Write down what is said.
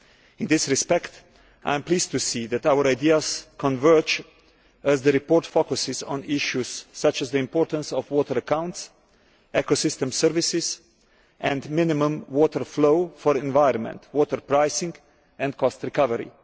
In this respect, I am pleased to see that our ideas converge, as the report focuses on issues such as the importance of water accounts, ecosystem services and minimum water flow for environment, water pricing and cost recovery.